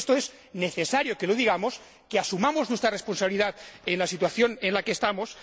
Creo que esto es necesario que lo digamos, que asumamos nuestra responsabilidad la situación en la que estamos.